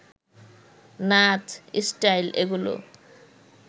নাচ, স্টাইল এগুলো